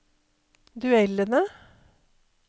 duellene